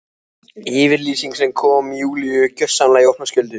Yfirlýsing sem kom Júlíu gjörsamlega í opna skjöldu.